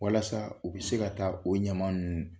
Walasa u bɛ se ka taa o ɲama ninnu